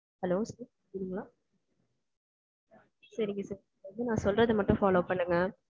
Hello இருங்க. சரிங்க sir, நான் சொல்றது மட்டும் follow பண்ணுங்க.